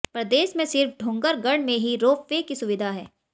प्रदेश में सिर्फ डोंगरगढ़ में ही रोप वे की सुविधा है